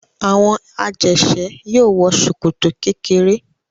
Àwọn ajẹ̀ṣẹ́ yóò wọ ṣòkòtò kékeré.